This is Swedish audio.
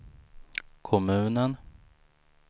kommunen